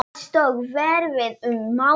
Alls tók ferðin um mánuð.